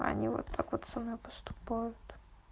а они вот так вот со мной поступают